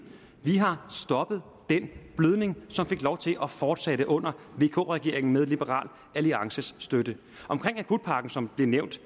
vi har stoppet den blødning som fik lov til at fortsætte under vk regeringen med liberal alliances støtte om akutpakken som blev nævnt